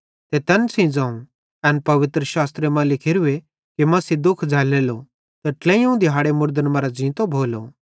ते तैन सेइं ज़ोवं एन पवित्रशास्त्र मां लिखोरूए कि मसीह दुःख झ़ैल्लेलो ते ट्लेइयोवं दिहाड़े मुड़दन मरां ज़ींतो भोलो